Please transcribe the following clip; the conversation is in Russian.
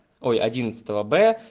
ой одиннадцатого б